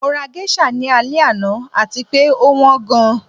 Mo ra geisha ni alẹ ana ati pe o wan gan